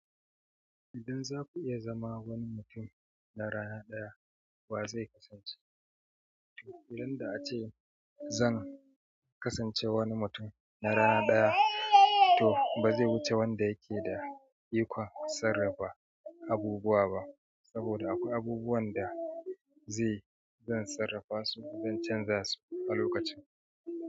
Idan za ku iya zama wani mutum na rana ɗaya, wa zai kasance? Idan da ace zan kasance wani mutum na rana ɗaya, to ba zai wuce wanda yake da ikon sarrafa abubuwa ba, saboda akwai abubuwan da zai zan sarrafa su zan canza su a lokacin.